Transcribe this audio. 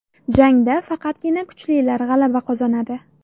Jangda faqatgina kuchlilar g‘alaba qozonadi.